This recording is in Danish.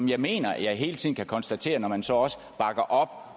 jeg mener at jeg hele tiden kan konstatere når man så også bakker op